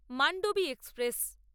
Mandovi express